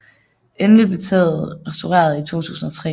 Endelig blev taget restaureret i 2003